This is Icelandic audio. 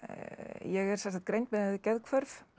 ég er greind með geðhvörf